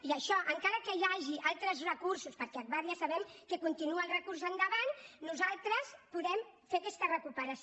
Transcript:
i això encara que hi hagi altres recursos perquè agbar ja sabem que continua amb el recurs endavant nosaltres podem fer aquesta recuperació